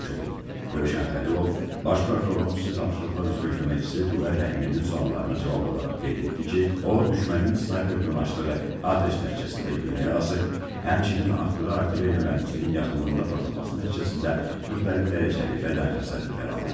Rövşən Xəlilov Baş prokurorun xüsusi tapşırıqlar üzrə köməkçisi Tuqay Rəhimlinin suallarına cavab olaraq qeyd etdi ki, o düşmənin snayperdən açdığı atəş nəticəsində güllə yarası, həmçinin atdığı artilleriya mərmisinin yaxınlığında partlaması nəticəsində müxtəlif dərəcəli bədən xəsarətləri alıb.